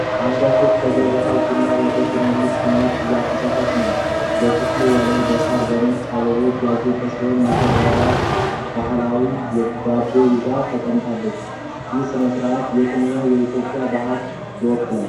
አንዷ ሴት ከጀበና ቡና ወደ ትንንሽ ስኒዎች እያፈሰሰች ነው። የክፍሉ ወለል በሣርና በነጭ አበባዎች ያጌጠ ሲሆን፣ ሙሽራውም ባህላዊ ዳቦ ይዞ ተቀምጧል። ይህ ሥነ ሥርዓት የትኛውን የኢትዮጵያ ባህል ይወክላል?